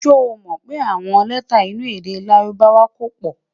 sọ mọ pé àwọn lẹta inú èdè lárùbáwá kò pò